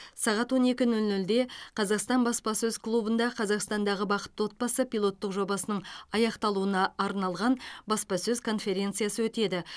сағат он екі нөл нөлде қазақстан баспасөз клубында қазақстандағы бақытты отбасы пилоттық жобасының аяқталуына арналған баспасөз конференциясы өтеді